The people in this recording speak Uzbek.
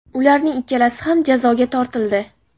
Ularning ikkalasi ham jazoga tortildi .